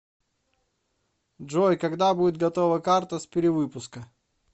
джой когда будет готова карта с перевыпуска